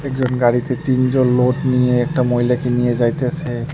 একজন গাড়িতে তিনজন লোড নিয়ে একটা মহিলাকে নিয়ে যাইতেসে।